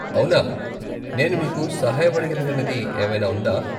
అవునా. నేను మీకు సహాయపడగలిగినది ఏమైనా ఉందా?